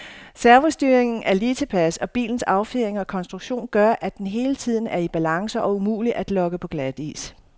Servostyringen er lige tilpas, og bilens affjedring og konstruktion gør, at den hele tiden er i balance og umulig at lokke på glatis.